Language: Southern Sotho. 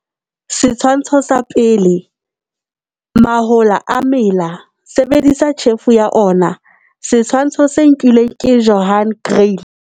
Setshwantsho sa 1. Pele mahola a mela, sebedisa tjhefo ya ona. Setshwantsho se nkilwe ke Johan Kriel.